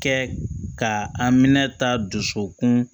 Kɛ ka an minɛ taa dusukun